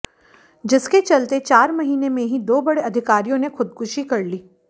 जिसके चलते चार महीने में ही दो बड़े अधिकारियों ने खुदकुशी कर ली